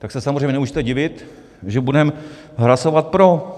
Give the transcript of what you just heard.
Tak se samozřejmě nemůžete divit, že budeme hlasovat pro.